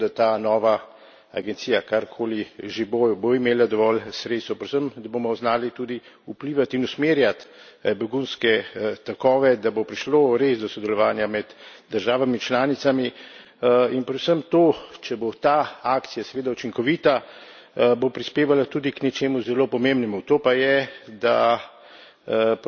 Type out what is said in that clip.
Predvsem se mi zdi pomembno, da ta nova agencija, karkoli že bo, bo imela dovolj sredstev, predvsem, da bomo znali tudi vplivat in usmerjat begunske tokove, da bo prišlo res do sodelovanja med državami članicami, in predvsem to, če bo ta akcija seveda učinkovita, bo prispevalo tudi k nečemu zelo pomembnemu to pa je, da